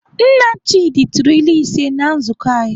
Nna Chidi tụrụ ilu ise na nzukọ anyị.